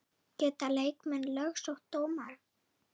Geta leikmenn lögsótt dómara?